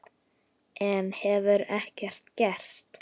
Enn hefur ekkert gerst.